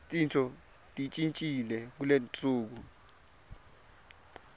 tintfo tishintjile kuletinsuku